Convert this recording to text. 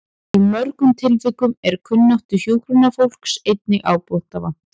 Í mörgum tilvikum er kunnáttu hjúkrunarfólks einnig ábótavant.